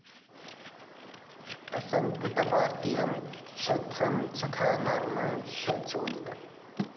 അസകൃത് പാർത്ഥിവം ക്ഷത്രംജഘാനാമർഷ ചോദിതഃ